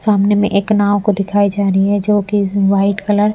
सामने में एक नाँव को दिखाई जा रही है जो कि इस वाइट कलर --